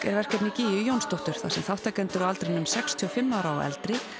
er verkefni gígju Jónsdóttur þar sem þátttakendur á aldrinum sextíu og fimm ára og eldri